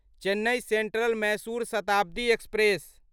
Chennai Central Mysuru Shatabdi express